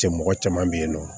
Cɛ mɔgɔ caman bɛ yen nɔ